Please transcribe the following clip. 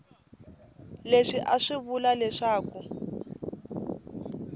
leswi a swi vula leswaku